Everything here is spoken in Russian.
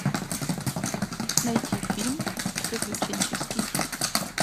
найти фильм приключенческий